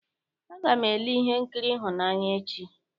Aga m ele ihe nkiri ịhụnanya echi.